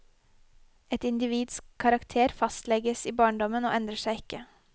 Et individs karakter fastlegges i barndommen og endrer seg ikke.